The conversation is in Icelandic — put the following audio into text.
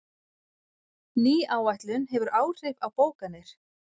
Ný áætlun hefur áhrif á bókanir